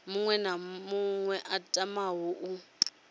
na muṅwe a tamaho u